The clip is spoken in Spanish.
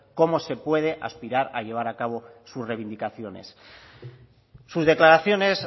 cómo se puede aspirar a llevar a cabo sus reivindicaciones sus declaraciones